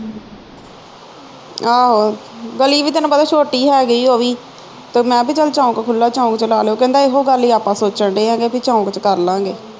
ਆਹੋ ਗਲੀ ਵੀ ਤੇ ਤੈਨੂੰ ਪਤਾ ਛੋਟੀ ਹੈਗੀ ਉਹ ਵੀ ਫਿਰ ਮੈਂ ਵੀ ਚੱਲ ਚੌਕ ਖੁੱਲਾ ਚੌਕ ਵਿਚ ਲਾ ਲਾਇਓ ਕਹਿੰਦਾ ਇਹੋ ਗੱਲ ਈ ਆਪਾ ਸੋਚਣ ਦਏ ਆ ਕਿ ਚੌਕ ਵਿਚ ਕਰਲਾਗੇ